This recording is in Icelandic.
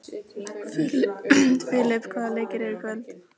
Filip, hvaða leikir eru í kvöld?